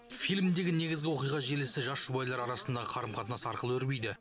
фильмдегі негізгі оқиға желісі жас жұбайлар арасындағы қарым қатынас арқылы өрбиді